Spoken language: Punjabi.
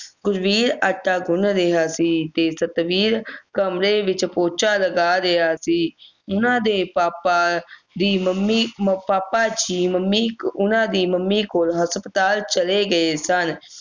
ਗੁਰਬੀਰ ਆਟਾ ਗੁੰਨ ਰਿਹਾ ਸੀ ਤੇ ਸਤਵੀਰ ਕਮਰੇ ਵਿੱਚ ਪੋਚਾ ਲਗਾ ਰਿਹਾ ਸੀ ਉਨ੍ਹਾਂ ਦੇ ਪਾਪਾ ਦੀ ਮੰਮੀ ਅਹ ਪਾਪਾ ਜੀ ਮੰਮੀ ਉਨ੍ਹਾਂ ਦੀ ਮੰਮੀ ਕੋਲ ਹਸਪਤਾਲ ਚਲੇ ਗਏ ਸਨ